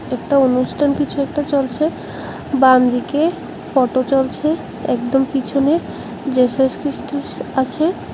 একটা অনুষ্ঠান কিছু একটা চলছে বামদিকে ফটো চলছে একদম পিছনে জেসাস খ্রিস্ট ইস আছে।